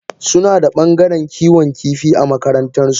Sunada bangaren Kiwon kifi a makarantan su.